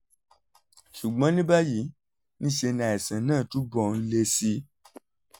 ṣùgbọ́n ní báyìí ní í ṣe ni àìsàn náà túbọ̀ ń le sí i